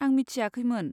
आं मिथियाखैमोन।